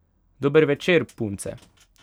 Dober večer, punce!